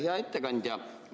Hea ettekandja!